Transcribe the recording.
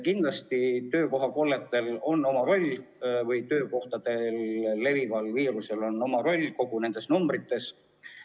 Kindlasti on töökohakolletel või töökohas levival viirusel oma roll nende numbrite kujunemisel.